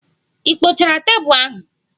Ị kpochara tebụl ahụ?